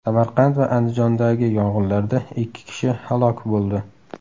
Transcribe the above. Samarqand va Andijondagi yong‘inlarda ikki kishi halok bo‘ldi.